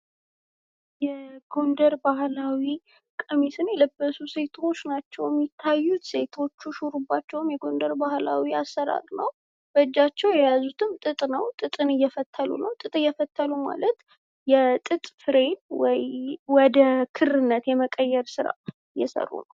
የጎንደር ባህላዊ ቀሚሶችን የለበሱ ሴቶች ናቸው። የሚያዩት ሴቶቹ ሹርባቸውን የጎንደር ባህላዊ አሰራር በእጃቸው የያዙትም ጥጥ ነው። ጥጥን እየፈተሉ ነው። ጥጥ እየፈተሉ ማለት የጥጥ ፍሬን ወደ ክርነት የመቀየር ስራ እየሰሩ ነው።